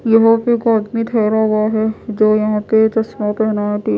यहां पे एक आदमी ठहरा हुआ है जो यहां पे चश्मा पहना है टी--